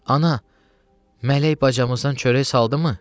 Ana, Mələk bacamızdan çörək saldımı?